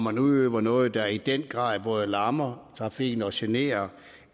at udøve noget der i den grad både lammer trafikken og generer